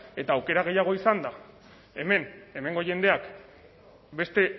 eta aukera gehiago izanda hemen hemengo jendeak beste